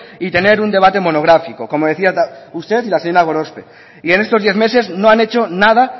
y tener un debate monográfico como decía usted y la señora gorospe y en estos diez meses no han hecho nada